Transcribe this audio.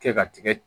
Kɛ ka tigɛ